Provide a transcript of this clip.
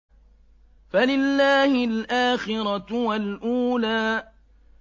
فَلِلَّهِ الْآخِرَةُ وَالْأُولَىٰ